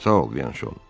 Sağ ol, Byanşon.